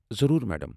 ضروٗر، میڑم۔